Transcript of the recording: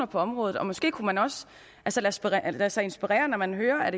på området og måske kunne man også lade sig inspirere når man hører at